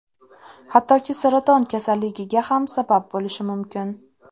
Hattoki saraton kasalligiga ham sabab bo‘lishi mumkin.